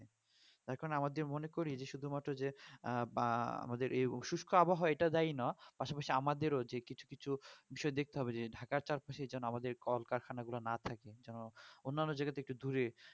তো এখন আমি আমাদের মনে করি যে শুধু মাত্র যে বা আমাদের এই অসুস্থ আবহাওয়া এটা যায়না পাশাপাশি আমাদের যে কিছু কিছু বিষয় দেখতে হবে যে ঢাকার চাপ সেই যেন আমাদের কলকারখানা গুলো না থাকে যেমন অন্যান জায়গা থেকে দূরে